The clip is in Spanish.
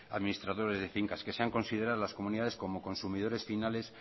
administradores de fincas que sean consideradas las comunidades como consumidores finales